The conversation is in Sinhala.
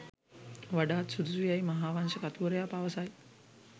වඩාත් සුදුසු යැයි මහාවංශ කතුවරයා පවසයි.